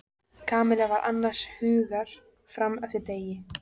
Kamilla var annars hugar fram eftir degi.